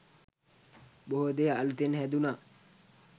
බොහෝ දේ අලුතෙන් හැදුනා